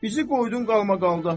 Bizi qoydun qalmaqalda.